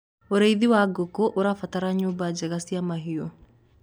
ũrĩithi wa ngũkũ ũrabatara nyumba njega cia mahiũ